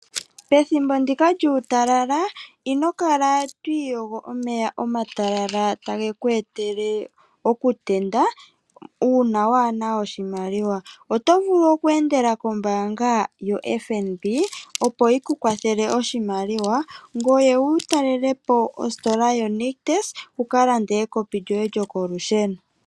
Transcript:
Pethimbo ndika lyuutalala ino kala twi iyogo omeya omatalala tage ku etele okutenda ,uuna waana oshimaliwa oto vulu oku endela kombaanga yoFNB